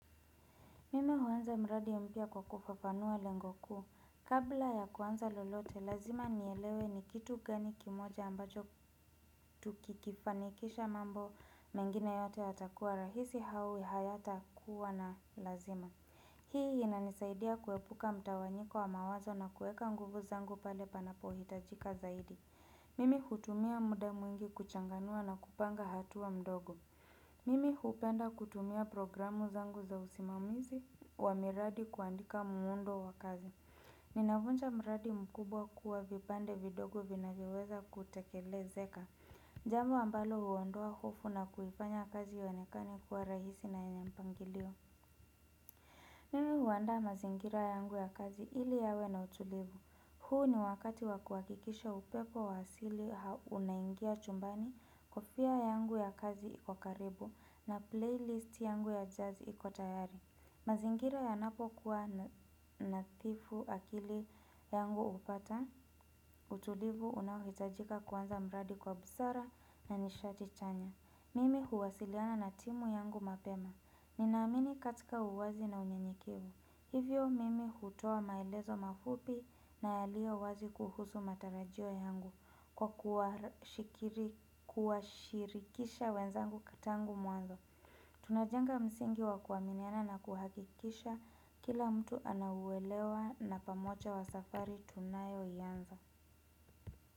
Mimi huaanza mradi mpya kwa kufafanua lengo kuu. Kabla ya kuanza lolote, lazima nielewe ni kitu gani kimoja ambacho tukikifanikisha mambo mengine yote hatakuwa rahisi hau hayata kuwa na lazima. Hii inanisaidia kuepuka mtawanyiko wa mawazo na kuweka nguvu zangu pale panapohitajika zaidi. Mimi hutumia muda mwingi kuchanganua na kupanga hatu wa mdogo. Mimi hupenda kutumia programu zangu za usimamizi wa miradi kuandika muundo wa kazi. Ninavunja mradi mkubwa kuwa vipande vidogo vinavyoweza kutekelezeka. Jambo ambalo uondoa hofu na kuifanya kazi yaonekani kuwa rahisi na yenye mpangilio. Mimi huandaa mazingira yangu ya kazi ili yawe na utulivu. Huu ni wakati wakuhakikisha upepo wa asili ha unaingia chumbani kofia yangu ya kazi iko karibu na playlist yangu ya jazz iko tayari mazingira yanapokuwa nadhifu akili yangu upata utulivu unaohitajika kuanza mradi kwa busara na nishati chanya Mimi huwasiliana na timu yangu mapema Ninaamini katika uwazi na unyenyekivu Hivyo mimi hutoa maelezo mafupi na yalio wazi kuhusu matarajio yangu Kwa kuwashikiri kuwashirikisha wenzangu tangu mwanzo Tunajenga msingi wa kuaminiana na kuhakikisha kila mtu anauwelewa na pamoja wa safari tunayoianza.